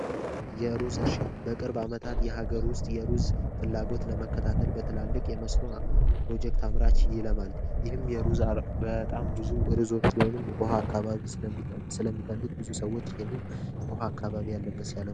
የሩዝ እርሻ በቅርብ ዓመታት የሀገር ውስጥ የሩዝ ፍላጎት ለመከታተል በትላልቅ የመስኖ ፕሮጀክት አምራች ይለማል። ይህም በጣም ብዙ ሩዞች ወይንም በውሃ አካባቢ ለሚፈልግ ብዙ ሰዎች ይህንን ውሃ አካባቢ ያለበት ሲያለሙ ይስተዋላሉ።